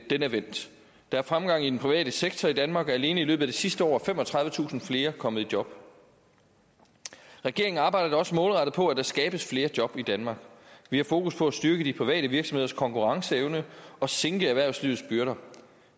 den er vendt der er fremgang i den private sektor i danmark og alene i løbet af det sidste år er femogtredivetusind flere kommet i job regeringen arbejder da også målrettet på at der skabes flere job i danmark vi har fokus på at styrke de private virksomheders konkurrenceevne og sænke erhvervslivets byrder